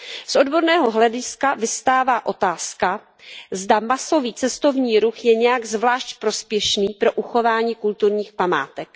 Z odborného hlediska vyvstává otázka, zda masový cestovní ruch je nějak zvlášť prospěšný pro uchování kulturních památek.